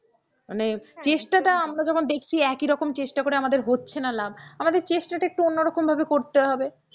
মানে চেষ্টাটা আমরা যখন দেখছি একই রকম চেষ্টা করে আমাদের হচ্ছে না লাভ, আমাদের চেষ্টাটা একটু অন্যরকম ভাবে করতে হবে।